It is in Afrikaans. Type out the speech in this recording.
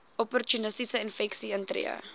opportunistiese infeksies intree